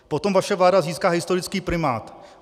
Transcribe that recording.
Potom vaše vláda získá historický primát.